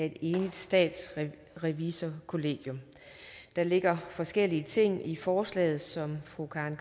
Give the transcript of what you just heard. et enigt statsrevisorkollegium der ligger forskellige ting i forslaget som fru karen